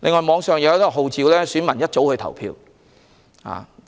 網上也有人號召市民大清早去投票。